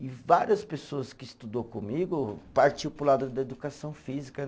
E várias pessoas que estudou comigo partiu para o lado da educação física.